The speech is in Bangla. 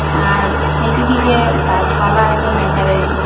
আর সাইটের দিকে গাছপালা আসে ন্যাসারালি ।